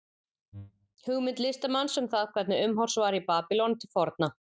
Hugmynd listamanns um það hvernig umhorfs var í Babýlon til forna.